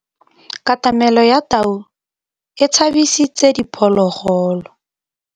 Katamêlô ya tau e tshabisitse diphôlôgôlô.